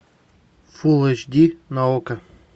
фул эйч ди на окко